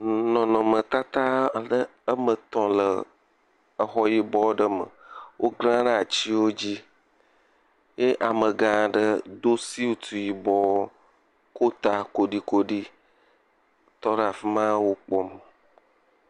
Nɔnɔmetata abe wɔme etɔ̃ le exɔ yibɔ aɖe me wokla ɖe atiwo dzi eye ame gʋ aɖe do suiti yiobɔ. Ko ta kolikoli tɔ ɖe afima wokpɔm.